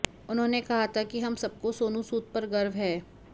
उन्होंने कहा था कि हम सबको सोनू सूद पर गर्व है